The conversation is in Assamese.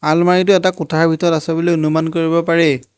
আলমাৰিটো এটা কোঠাৰ ভিতৰত আছে বুলি অনুমান কৰিব পাৰি।